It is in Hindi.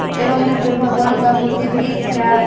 एवं यहां पे भगवान का मूर्ति भी दिख रहा है।